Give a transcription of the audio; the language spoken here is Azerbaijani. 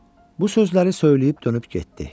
Bu sözləri söyləyib dönüb getdi.